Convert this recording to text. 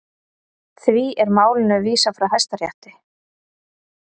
Því er málinu vísað frá Hæstarétti